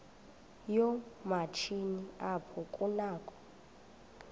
yoomatshini apho kunakho